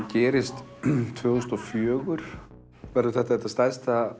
gerist tvö þúsund og fjögur þá verður þetta þetta stærsta